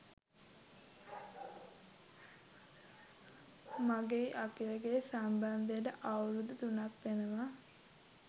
මගෙයි අකිලගෙයි සම්බන්ධයට අවුරුදු තුනක් වෙනවා.